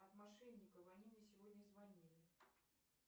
от мошенников они мне сегодня звонили